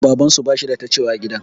Babansu bashi da ta cewa a gidan.